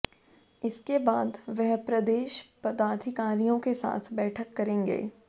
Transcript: इसके बाद वह प्रदेश पदाधिकारियों के साथ बैठक करेंगे